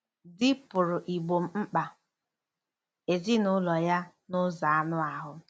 Di pụrụ igbo mkpa ezinụlọ ya n'ụzọ anụ ahụ́.